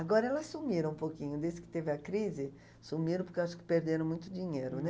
Agora elas sumiram um pouquinho, desde que teve a crise, sumiram porque eu acho que perderam muito dinheiro, né?